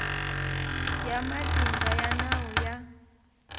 ya matimba ya nawu ya